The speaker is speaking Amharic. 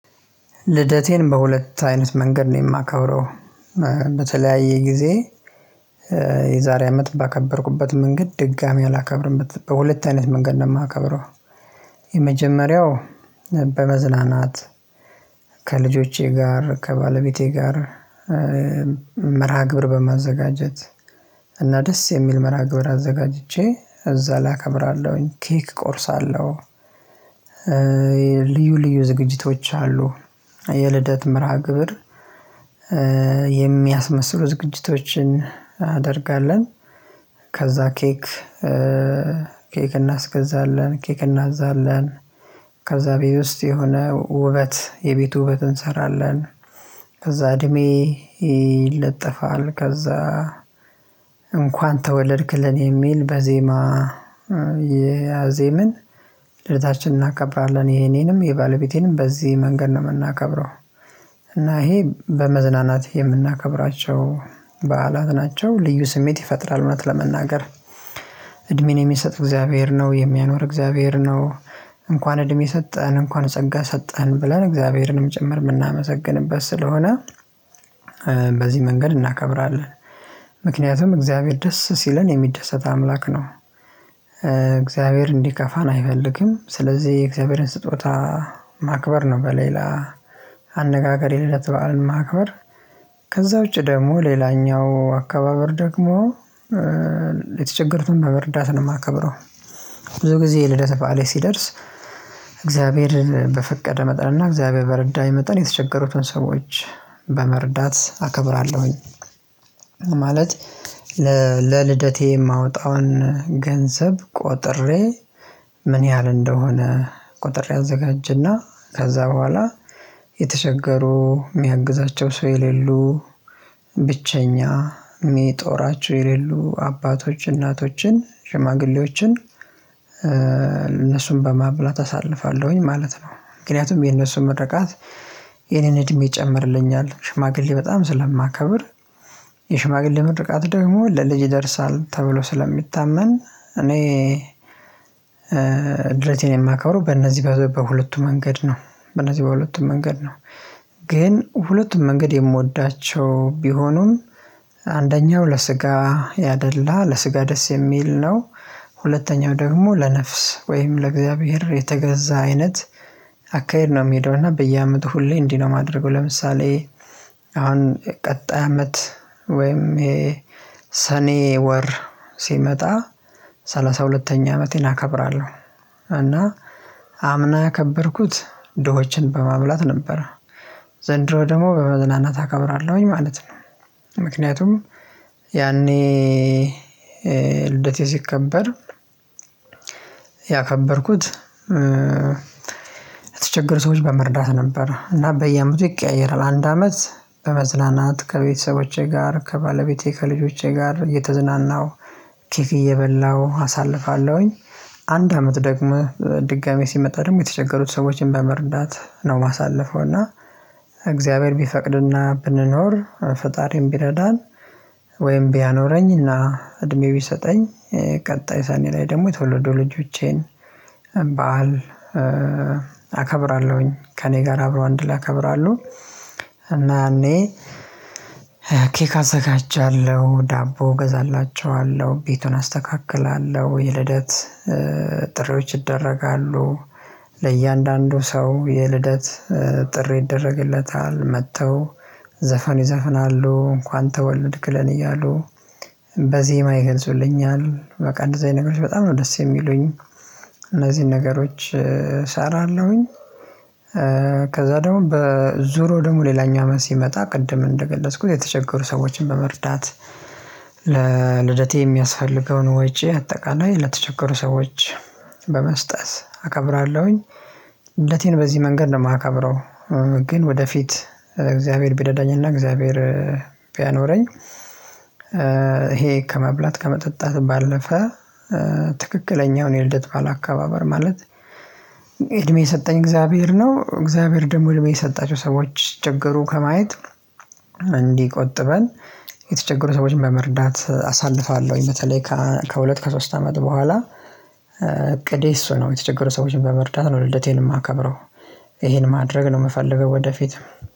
ልደቴን በሁለት አይነት መንገድ ነው የማከብረው። በተለያየ ጊዜ። የዛሬ አመት ባከበርኩበት መንገድ ድጋሚ አላከብርም በሁለት አይነት መንገድ ነው የማከብረው። የመጀመሪያው በመዝናናት ከልጆቼ ጋር ከባለቤቴ ጋር። መርሃ ግብር በማዘጋጀት እና ደስ የሚል መርሃ ግብር አዘጋጅቼ እዛ ላከብራለሁኝ ኬክ ቆርሳለሁ። ልዩ ልዩ ዝግጅቶች አሉ። የልደት መርሃ ግብር የሚያስመስሉ ዝግጅቶችን እናደርጋለን። ከዛ ኬክ ኬክ እናስገዛለን ኬክ እናዝዛለን። ከዛ ቤቴ በውስጥ የሆነ ውበት የቤቱ ውበት እንሰራለን። ከዛ እድሜ ይለጠፋል ከዛ። እንኳን ተወለድክ ለኔ የሚል በዜማ እያዜምን ልደታችን እናከብራለን የኔንም የባለቤቴንም በዚህ መንገድ ነው የምናከብረው። እና ይሄ በመዝናናት የምናከብራቸው በዓላት ናቸው። ልዩ ስሜት ይፈጥራል። እውነት ለመናገር እድሜን የሚሰጥ እግዚአብሔር ነው የሚያኖር እግዚአብሔር ነው። እንኳን እድሜ ሰጠኸን እንኳን ጸጋ ሰጠኸን ብለን እግዚአብሔርንም ጭምር የምናመሰግንበት ስለሆነ። በዚህ መንገድ እናከብራለን። ምክንያቱም እግዚአብሔር ደስ ሲለን የሚደሰት አምላክ ነው። እግዚአብሔር እንዲከፋን አይፈልግም። ስለዚህ የእግዚአብሔርን ስጦታ ማክበር ነው። በሌላ አነጋገር የልደት በዓል ማክበር ከዛ ውጪ ደግሞ ሌላኛው አካባበር ደግሞ የተቸገሩትን በመርዳት ነው የማከብረው። ብዙ ጊዜ የልደት በዓሌ ሲደርስ እግዚአብሔር በፈቀደ መጠን እና እግዚአብሔር በረዳኝ መጠን የተቸገሩትን ሰዎች በመረዳት አከብራለሁኝ። ማለት ለልደቴ የማወጣውን ገንዘብ ቆጥሬ ምን ያህል እንደሆነ ቆጥሬ አዘጋጀና ከዛ በኋላ የተቸገሩ የሚያግዛቸው ሰው የሌሉ ብቸኛ የሚጦራቸው የሌሉ አባቶች እናቶችን ሽማግሌዎችን እነሱን በማብላት አሳልፋለሁኝ ማለት ነው። ምክንያቱም የነሱ ምርቃት የእኔን እድሜ ይጨምርልኛል። ሽማግሌ በጣም ስለማከብር የሽማግሌ ምርቃት ደግሞ ለልጅ ይደርሳል ተብሎ ስለሚታመን። እኔ ልደቴን የማከረው በእነዚህ በሁለቱ መንገድ ነው። በእነዚህ በሁለቱ መንገድ ነው። ግን ሁለቱም መንገድ የምወዳቸው ቢሆኑም አንደኛው ለስጋ ያደላ ለስጋ ደስ የሚል ነው። ሁለተኛው ደግሞ ለነፍስ ወይም ለእግዚአብሔር የተገዛ አይነት አካሄድ ነው የሚሄደው እና በየአመቱ ሁሌ እንዲህ ነው ማደርገው። ለምሳሌ አሁን ቀጣይ አመት ወይም የሰኔ ወር ሲመጣ ሰላሳ ሁለተኛ አመቴን አከብራለሁ። እና አምና የከበርኩት ድሆችን በማብላት ነበር። ዘንድሮ ደግሞ በመዝናናት አከብራለሁኝ ማለት ነው። ምክንያቱም ያኔ ልደቴ ሲከበር ያከበርኩት የተቸገሩ ሰዎች በመርዳት ነበር እና በየአመቱ ይቀያየራል። አንድ አመት በመዝናናት ከቤተሰቦቼ ጋር ከባለቤቴ ከልጆቼ ጋር እየተዝናናሁ ኬክ እየበላሁ አሳልፋለሁኝ። አንድ አመት ደግሞ ድጋሚ ሲመጣ ደግሞ የተቸገሩት ሰዎችን በመርዳት ነው የማሳልፈው። እና እግዚአብሔር ቢፈቅድና ብንኖር ፈጣሪም ቢረዳን ወይም ቢያኖረኝና እድሜ ቢሰጠኝ። ቀጣይ ሰኔ ላይ ደግሞ የተወለዱ ልጆቼን በዓል አከብራለሁኝ ከእኔ ጋር አብረው አንድ ላይ ያከብራሉ። እና እኔ ኬክ አዘጋጃለሁ ዳቦ እገዛላቸዋለሁ ቤቱን አስተካክላለሁ የልደት ጥሪዎች ይደረጋሉ ለእያንዳንዱ ሰው የልደት ጥሪ ይደረግለታል መጥተው ዘፈን ይዘፍናሉ እንኳን ተወለድክለን እያሉ በዜማ ይገልጹልኛል በቃ እንደዚህ አይነት ነገሮች በጣም ነው ደስ የሚሉኝ። እነዚህን ነገሮች እሰራለሁኝ። ከዛ ደግሞ በዙሮ ደግሞ ሌላኛው አመት ሲመጣ ቅድም እንደገለጽኩት የተቸገሩ ሰዎችን በመርዳት ለልደቴ የሚያስፈልገውን ወጪ አጠቃላይ ለተቸገሩ ሰዎች በመስጠት አከብራለሁኝ። ልደቴን በዚህ መንገድ ነው የማከብረው። ግን ወደፊት እግዚአብሔር ቢረዳኝና እግዚአብሔር ቢያኖረኝ። ይሄ ከመብላት ከመጠጣት ባለፈ ትክክለኛውን የልደት በዓል አካባበር ማለት እድሜ የሰጠኝ እግዚአብሔር ነው። እግዚአብሔር ደግሞ እድሜ የሰጣቸው ሰዎች ሲቸገሩ ከማየት እንዲህ ቆጥበን የተቸገሩ ሰዎችን በመርዳት አሳልፋለሁኝ። በተለይ ከሁለት ከሶስት አመት በኋላ እቅዴ እሱ ነው የተቸገሩ ሰዎችን በመርዳት ነው ልደቴን የማከብረው። ይሄን ማድረግ ነው የምፈልገው። ወደፊት